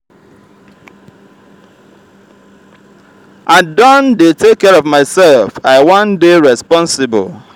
i don dey take care of mysef i wan dey responsible.